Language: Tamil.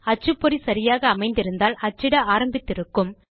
அச்சுப்பொறி சரியாக அமைந்திருந்தால் அச்சிட ஆரம்பித்து இருக்கும்